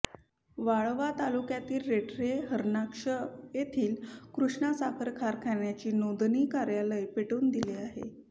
वाळवा तालुक्यातील रेठरे हरणाक्ष येथील कृष्णा साखर कारखान्याचे नोंदणी कार्यालय पेटवून दिले आहे